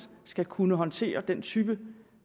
skal kunne håndtere den type